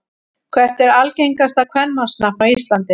Hvert er algengasta kvenmannsnafn á Íslandi?